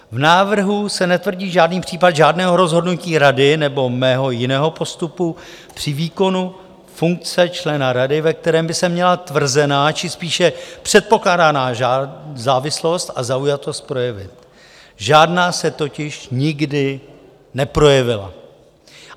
V návrhu se netvrdí žádný případ žádného rozhodnutí rady nebo mého jiného postupu při výkonu funkce člena rady, ve kterém by se měla tvrzená či spíše předpokládaná závislost a zaujatost projevit, žádná se totiž nikdy neprojevila.